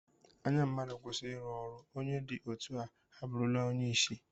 Anya mmadụ kwụsị iru ọrụ, onye dị etu a abụrụla onye isi